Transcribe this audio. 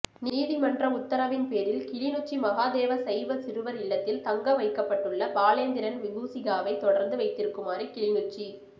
நீதிமன்ற உத்தரவின் பேரில் கிளிநொச்சி மகாதேவா சைவச் சிறுவர் இல்லத்தில் தங்க வைக்கப்பட்டுள்ள பாலேந்திரன் விபூசிகாவை தொடர்ந்து வைத்திருக்குமாறு கிளிநொச்சி